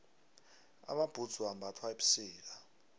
amabhudzu ambathwa ebusika